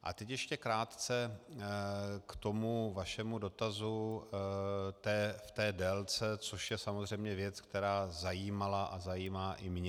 A teď ještě krátce k tomu vašemu dotazu v té délce, což je samozřejmě věc, která zajímala a zajímá i mě.